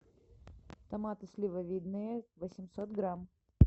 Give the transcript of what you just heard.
томаты сливовидные восемьсот грамм